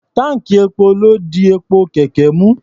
Táǹkì epo ló di epo kẹ̀kẹ́ mú.